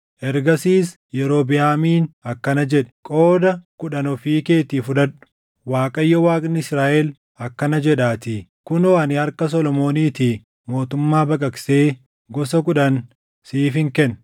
Ergasiis Yerobiʼaamiin akkana jedhe; “Qooda kudhan ofii keetii fudhadhu; Waaqayyo Waaqni Israaʼel akkana jedhaatii; ‘Kunoo ani harka Solomooniitii mootummaa baqaqsee gosa kudhan siifin kenna.